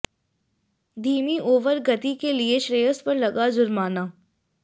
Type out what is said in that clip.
धीमी ओवर गति के लिए श्रेयस पर लगा जुर्माना